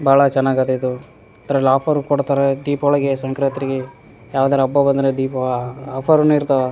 ಬಹಳ ಚೆನ್ನಾಗದೆ ಇದು ದ್ರಲ್ ಆಫರು ಕೊಡ್ತಾರೆ ದೀಪಾವಳಿಗೆ ಸಂಕ್ರಾಂತ್ರಿಗೆ ಯಾವ್ದಾರು ಹಬ್ಬ ಬಂದ್ರೆ ದೀಪ ಅಆಆಫರುನು ಇರ್ತವ --